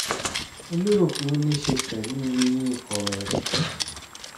mo lérò pé ó ní í ṣe pẹ̀lú eyín kọ̀rọ̀ ẹ̀rẹ̀kẹ́